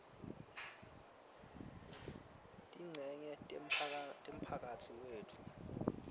tincenye temphakatsi wetfu